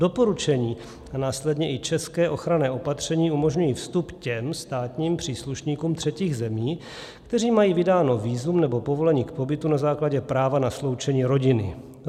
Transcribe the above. Doporučení a následně i česká ochranná opatření umožňují vstup těm státním příslušníkům třetích zemí, kteří mají vydáno vízum nebo povolení k pobytu na základě práva na sloučení rodiny.